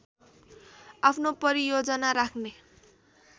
आफ्नो परियोजना राख्ने